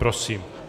Prosím.